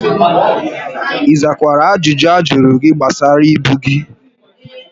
ị zakwara ajụjụ ha jụrụ gị gbasara ibu gị?